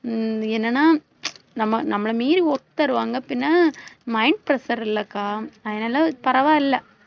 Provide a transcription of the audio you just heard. ஹம் என்னன்னா நம்ம நம்மள மீறி work தருவாங்க, பின்ன mind pressure இல்லக்கா அதனால பரவாயில்லை.